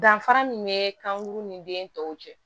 Danfara min bɛ kankuru ni den tɔw cɛ